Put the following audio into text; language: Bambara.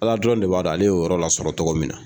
Ala dɔrɔn de b'a dɔn ale y'o yɔrɔ la sɔrɔ togo min na.